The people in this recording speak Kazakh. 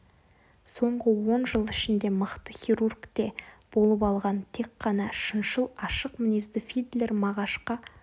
соңғы он жыл ішінде мықты хирург те болып алған тек қана шыншыл ашық мінезді фидлер мағашқа